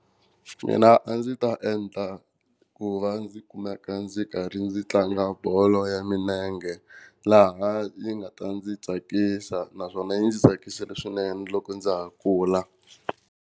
Mina a ndzi ta endla ku va ndzi kumeka ndzi karhi ndzi tlanga bolo ya milenge laha yi nga ta ndzi tsakisa naswona yi ndzi tsakisile swinene loko ndza ha kula.